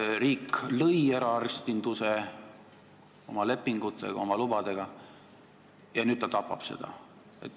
Riik lõi eraarstinduse oma lepingute ja lubadega ning nüüd tapab seda.